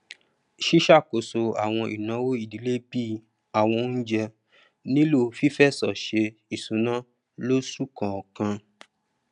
ìṣàkóso àwọn ìnáwó ìdìlé bí àwọn oúnjẹ nílò fífẹsọ sé ìṣúná lósù kọkan